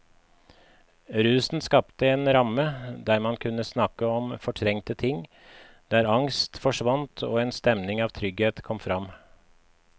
Rusen skapte en ramme der man kunne snakke om fortrengte ting, der angst forsvant og en stemning av trygghet kom fram.